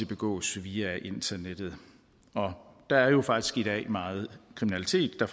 begås via internettet der er jo faktisk i dag meget kriminalitet der